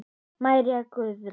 María Guðrún.